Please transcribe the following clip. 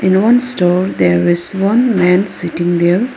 In one store there is one man sitting there.